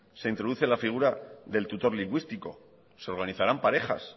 se introduce la figura del tutor lingüístico se organizarán parejas